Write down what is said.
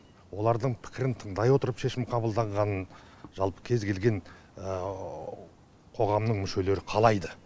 олардың пікірін тыңдай отырып шешім қабылданғанын жалпы кез келген қоғамның мүшелері қалайды